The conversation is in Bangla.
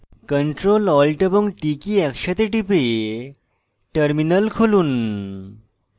ctrl alt এবং t কী একসাথে টিপে terminal খুলুন